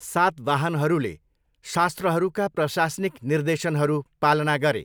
सातवाहनहरूले शास्त्रहरूका प्रशासनिक निर्देशनहरू पालना गरे।